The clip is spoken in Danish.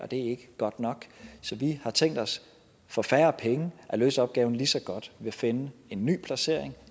det er ikke godt nok så vi har tænkt os for færre penge at løse opgaven lige så godt ved at finde en ny placering